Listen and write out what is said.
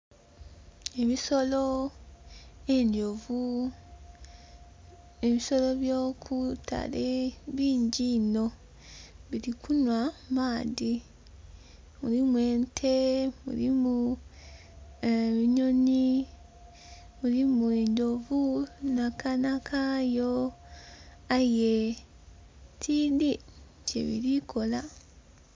Ebisolo, endhovu ebisolo by'okwitale bingi inho biri kunhwa maadhi, mulimu ente mulimu enhonhi, mulimu endhovu n'akaana kayo aye tidhi kye biri kola.